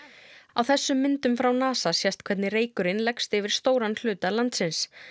á þessum myndum frá NASA sést hvernig reykurinn leggst yfir stóran hluta landsins